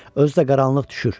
Özü də qaranlıq düşür.